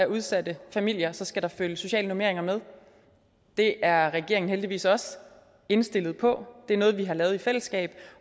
udsatte familier skal der følge sociale normeringer med det er regeringen heldigvis også indstillet på det er noget vi har lavet i fællesskab